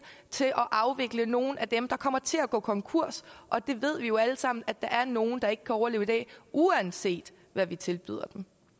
til at afvikle nogle af dem der kommer til at gå konkurs og vi ved jo alle sammen at der er nogle der ikke kan overleve i dag uanset hvad vi tilbyder